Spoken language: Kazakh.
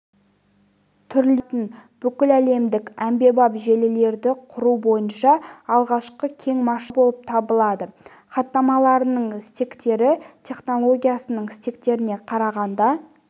түрлерін ұсынатын бүкіләлемдік әмбебап желілерді құру бойынша алғашқы кең масштабты жоба болып табылады хаттамаларының стектері технологиясының стектеріне қарағанда